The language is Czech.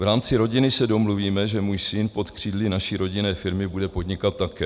V rámci rodiny se domluvíme, že můj syn pod křídly naší rodinné firmy bude podnikat také.